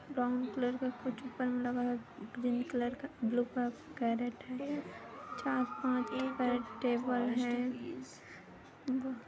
Brown colour का कुछ bun लगा है ग्रीन कलर का ब्लू कलर का केरेट है। चार पाँच टेबल है।